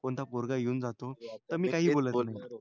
कोणता पोरगा येऊन जातो तर मी काही बोलत नाही.